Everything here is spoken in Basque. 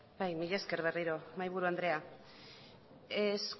bai mila esker berriro mahaiburu andrea es